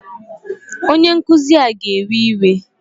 Onye nkụzi a ga-ewe iwe?